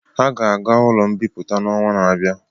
Ha ga-aga ụlọ mbipụta n'ọnwa na-abịa.